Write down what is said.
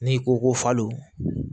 N'i ko ko falon